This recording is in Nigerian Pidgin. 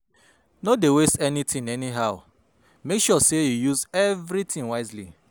No dey waste anytin anyhow, mek sure sey yu use evritin wisely